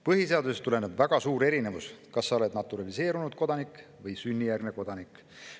Põhiseadusest tuleneb väga suur erinevus selle vahel, kas olla naturaliseerunud kodanik või sünnijärgne kodanik.